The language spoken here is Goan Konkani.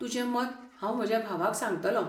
तुजें मत हांव म्हज्या भावाक सांगतलों.